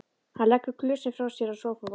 Hann leggur glösin frá sér á sófaborðið.